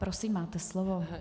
Prosím, máte slovo.